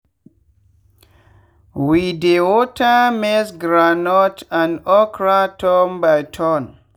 we dey water maizegroundnut and okra turn by turn.